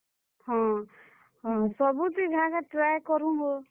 ହଁ, ହଁ, ସବୁଥି ଘାଏ, ଘାଏ try କରୁଁହୋ।